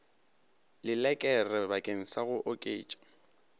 lelekere bakeng sa go oketša